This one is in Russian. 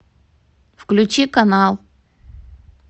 включи канал